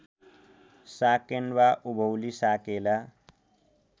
साकेन्वा उभौली साकेला